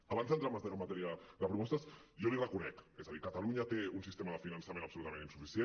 abans d’entrar en matèria de propostes jo li ho reconec és a dir catalunya té un sistema de finançament absolutament insuficient